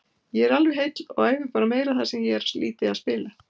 Ég er alveg heill og æfi bara meira þar sem ég er lítið að spila.